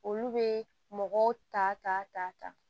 Olu bɛ mɔgɔw ta ta ta ta